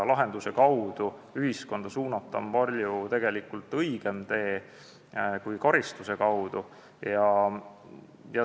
Lahenduse kaudu ühiskonda suunata on palju õigem tee kui teha seda karistuse kaudu.